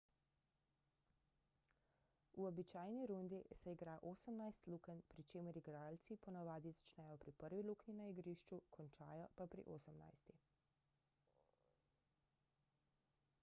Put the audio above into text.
v običajni rundi se igra osemnajst lukenj pri čemer igralci ponavadi začnejo pri prvi luknji na igrišču končajo pa pri osemnajsti